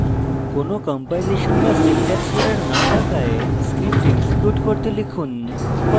কোনো কম্পাইলেশন বা syntax error no থাকায় script execute করতে